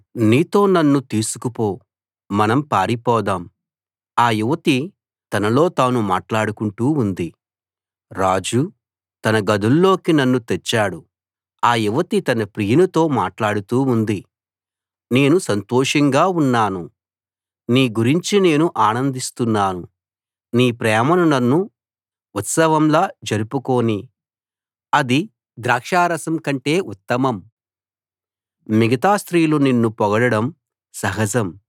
నీతో నన్ను తీసుకుపో మనం పారిపోదాం ఆ యువతి తనలో తాను మాట్లాడుకుంటూ ఉంది రాజు తన గదుల్లోకి నన్ను తెచ్చాడు ఆ యువతి తన ప్రియునితో మాట్లాడుతూ ఉంది నేను సంతోషంగా ఉన్నాను నీ గురించి నేను ఆనందిస్తున్నాను నీ ప్రేమను నన్ను ఉత్సవంలా జరుపుకోనీ అది ద్రాక్షారసం కంటే ఉత్తమం మిగతా స్త్రీలు నిన్ను పొగడడం సహజం